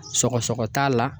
Sɔgɔsɔgɔ t'a la